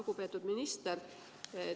Lugupeetud minister!